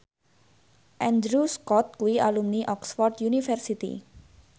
Andrew Scott kuwi alumni Oxford university